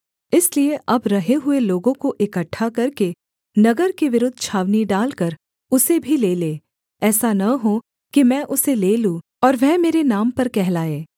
इसलिए अब रहे हुए लोगों को इकट्ठा करके नगर के विरुद्ध छावनी डालकर उसे भी ले ले ऐसा न हो कि मैं उसे ले लूँ और वह मेरे नाम पर कहलाए